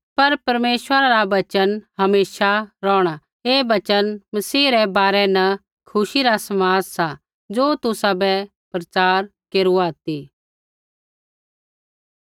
पर परमेश्वरा रा वचन हमेशा रौहणा ऐ वचन मसीह रै बारै न खुशी रा समाद सा ज़ो तुसाबै प्रचार केरूआ ती